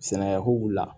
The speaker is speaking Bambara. Sɛnɛko la